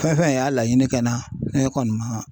Fɛn fɛn y'a laɲini kɛ n na , ne kɔni ma